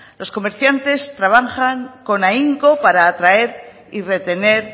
los comerciantes trabajan con ahínco para atraer y retener